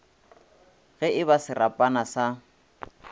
ge e ba serapana sa